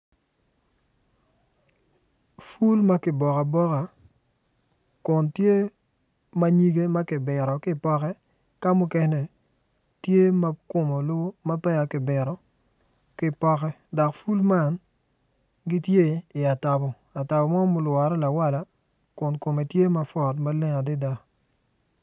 Pul ma kiboko aboka kun tye ma nyige ma kibito ki i poke ka mukene tye ma kome olu ma peya kibito ki i poko dok pul man gitye i atabo atabo mo ma olwere lawala kun kome tye mapwot maleng adada.